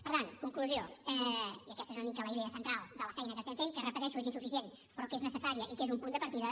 per tant conclusió i aquesta és una mica la idea central de la feina que fem que ho repeteixo és insuficient però que és necessària i que és un punt de partida